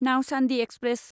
Nauchandi express